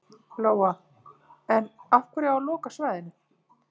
Lóa: En af hverju á að loka svæðinu?